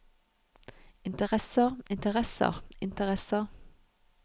interesser interesser interesser